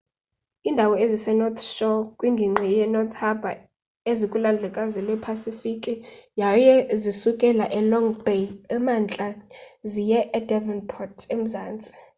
iindawo ezise-north shore kwingingqi ye-north harbour zikulwandlekazi lwepasifiki yaye zisukela e-long bay emntla ziye e-devonport emzantsi